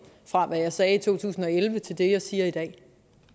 fra det jeg sagde i to tusind og elleve til det jeg siger i dag